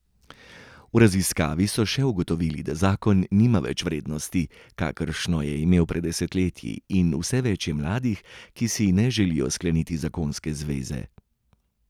V raziskavi so še ugotovili, da zakon nima več vrednosti, kakršno je imel pred desetletji, in vse več je mladih, ki si ne želijo skleniti zakonske zveze.